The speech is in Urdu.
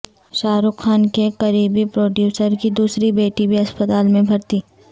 شاہ رخ خان کےقریبی پروڈیوسرکی دوسری بیٹی بھی اسپتال میں بھرتی